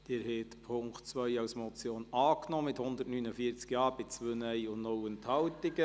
Sie haben den Punkt 2 als Motion angenommen, mit 149 Ja- bei 2 Nein-Stimmen und 0 Enthaltungen.